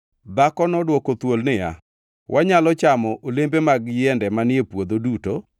Dhako nodwoko thuol niya, “Wanyalo chamo olembe mag yiende manie puodho duto,